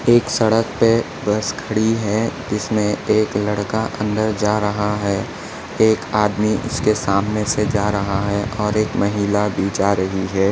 एक सड़क पे बस खड़ी है जिसमे एक लड़का अंदर जा रहा है एक आदमी उसके सामने से जा रहा है और एक महिला भी जा रही है।